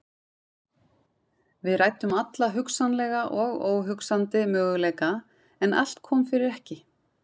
Við ræddum alla hugsanlega og óhugsandi möguleika en allt kom fyrir ekki.